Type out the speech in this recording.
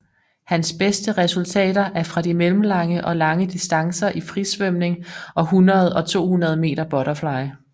Hans beste resultater er fra de mellemlange og lange distancer i frisvømning og 100 og 200 meter butterfly